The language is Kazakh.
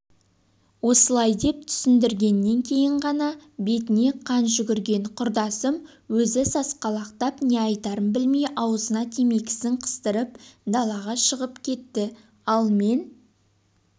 осылай деп түсіндіргеннен кейін ғана бетіне қан жүгірген құрдасым өзі сасқалақтап не айтарын білмей аузына темекісін қыстырып далаға шығып кетті ал мен